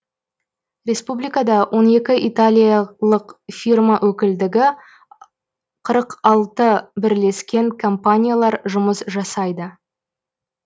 республикада он екі италиялық фирма өкілдігі қырық алты бірлескен компаниялар жұмыс жасайды